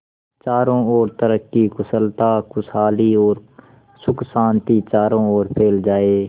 चारों और तरक्की कुशलता खुशहाली और सुख शांति चारों ओर फैल जाए